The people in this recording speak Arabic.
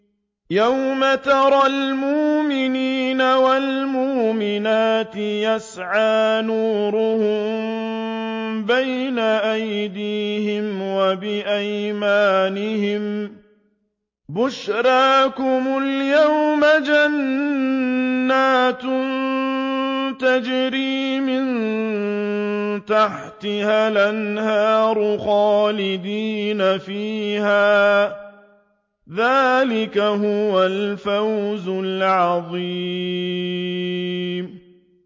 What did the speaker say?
يَوْمَ تَرَى الْمُؤْمِنِينَ وَالْمُؤْمِنَاتِ يَسْعَىٰ نُورُهُم بَيْنَ أَيْدِيهِمْ وَبِأَيْمَانِهِم بُشْرَاكُمُ الْيَوْمَ جَنَّاتٌ تَجْرِي مِن تَحْتِهَا الْأَنْهَارُ خَالِدِينَ فِيهَا ۚ ذَٰلِكَ هُوَ الْفَوْزُ الْعَظِيمُ